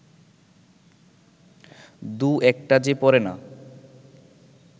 দু-একটা যে পড়ে না